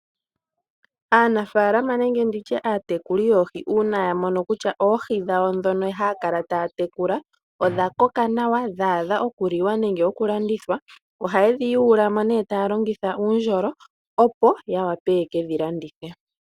Aanafalama nenge nditye aatekuli yoohi uuna ya mono kutya oodhi dhawo ndhono haya kala taya tekula odha koka nawa dhaadha okuliwa nenge oku landithwa ohaye dhi yuula mo nee taya longitha uundjolo opo ya wape yekedhi landithe.